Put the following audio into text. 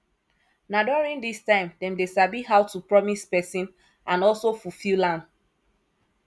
na during this time dem de sabi how to promise persin and also fulfill am